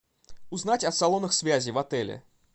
узнать о салонах связи в отеле